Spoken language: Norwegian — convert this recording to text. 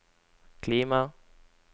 klima